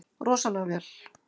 Rosalega vel.